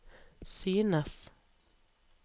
synes